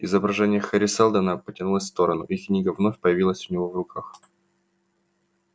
изображение хари сэлдона потянулось в сторону и книга вновь появилась у него в руках